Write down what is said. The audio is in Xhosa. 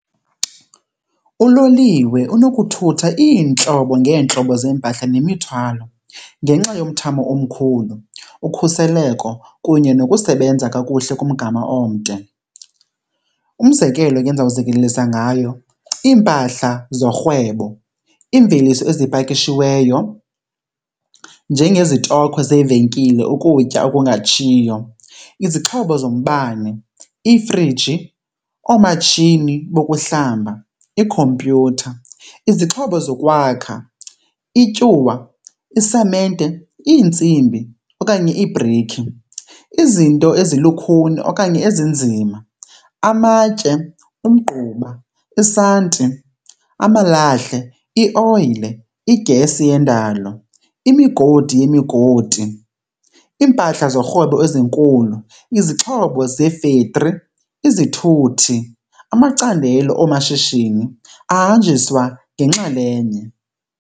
Uloliwe unokuthutha iintlobo ngeentlobo zeempahla nemithwalo ngenxa yomthamo omkhulu, ukhuseleko kunye nokusebenza kakuhle kumgama omde. Umzekelo ngendizawukuzekelisa ngayo, iimpahla zorhwebo. Iimveliso ezipakishiweyo njengezitokhwe zeevenkile, ukutya okungatshiyo, izixhobo zombane, iifriji, oomatshini bokuhlamba, iikhompyutha, izixhobo zokwakha, ityuwa, isamente, iintsimbi okanye iibhrikhi. Izinto ezilukhuni okanye ezinzima, amatye, umgquba, isanti, amalahle, ioyile, iigesi yendalo, imigodi yemigodi, iimpahla zorhwebo ezinkulu, izixhobo zee-factory, izithuthi, amacandelo oomashishini ahanjiswa ngenxalenye.